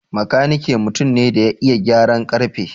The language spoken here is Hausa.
Makanike mutum ne da ya iya gyaran ƙarfe.